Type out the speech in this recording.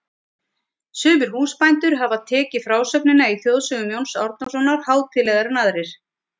Sumir húsbændur hafa tekið frásögnina í Þjóðsögum Jóns Árnasonar hátíðlegar en aðrir.